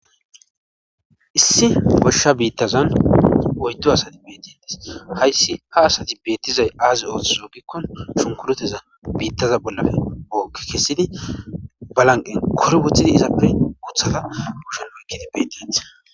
issi goshsha biittazan oyddo asati beetintis hayssi ha asati beettizay aazi ooththizo gikkon shunkureteza biittaza bollafe ookke kessidi balanqen korbothidi izappe uthada gushen oykkidi betit